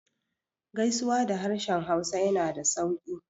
Gaisuwa da harshen hausa yana da sauƙi